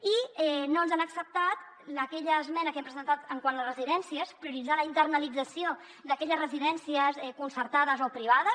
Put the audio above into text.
i no ens han acceptat aquella esmena que hem presentat quant a les residències prioritzar la internalització d’aquelles residències concertades o privades